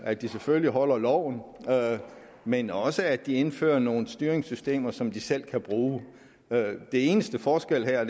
at de selvfølgelig overholder loven men også for at de indfører nogle styringssystemer som de selv kan bruge den eneste forskel her er